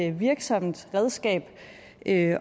et virksomt redskab at